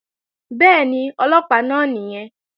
Bẹ́ẹ̀ni, Ọlọ́pàá náà nìyẹn